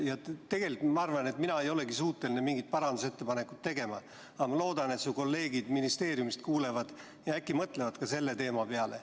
Tegelikult ma arvan, et mina ei olegi suuteline mingeid parandusettepanekuid tegema, aga ma loodan, et su kolleegid ministeeriumist ka kuulevad ja äkki mõtlevad selle teema peale.